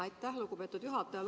Aitäh, lugupeetud juhataja!